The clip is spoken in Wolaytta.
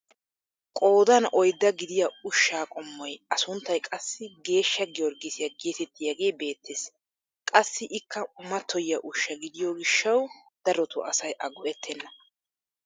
Qoodan oyddaa gidiyaa ushshaa qommoy a sunttay qassi geeshsha giyorgisiyaa getettiyaagee beettees. qassi ikka mattoyiyaa ushshaa gidiyoo gishshawu darotoo asay a go"ettena.